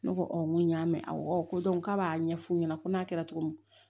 Ne ko n ko y'a mɛn awɔ ko k'a b'a ɲɛfu ɲɛna ko n'a kɛra cogo min